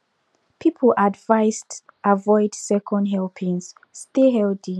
people advised avoid second helpings stay healthy